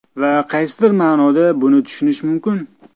Va qaysidir ma’noda buni tushunish mumkin.